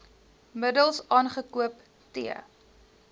middels aangekoop t